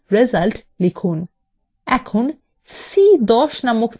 এখন c10 নামক cell এ click করুন